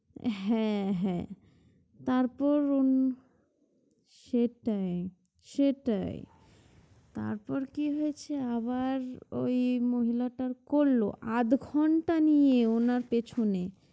হ্যাঁ হ্যাঁ